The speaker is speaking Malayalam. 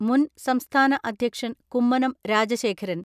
മുൻ സംസ്ഥാന അധ്യക്ഷൻ കുമ്മനം രാജശേഖരൻ.